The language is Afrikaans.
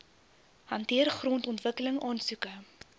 hanteer grondontwikkeling aansoeke